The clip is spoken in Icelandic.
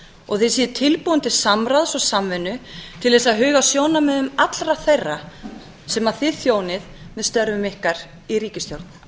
og að þið séuð tilbúin til samráðs og samvinnu til þess að huga að sjónarmiðum allra þeirra sem þið þjónið með störfum ykkar í ríkisstjórn